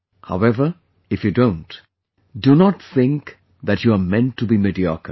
However, if you don't, do not think that you are meant to be mediocre